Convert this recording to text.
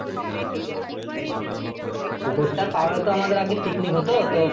পুকুরটা পারে তো আমাদের আগে picnic হতো তো?